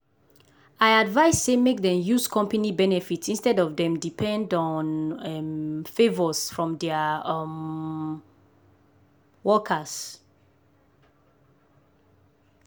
i advice say make dem use company benefit instead of dem depend um on favors from dia um workers.